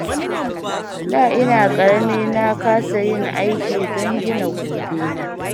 Da ina ƙarami na kasa yin aiki don gina gobe na.